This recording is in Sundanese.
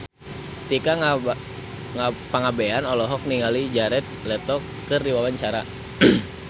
Tika Pangabean olohok ningali Jared Leto keur diwawancara